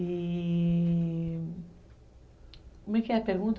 E... Como é que é a pergunta?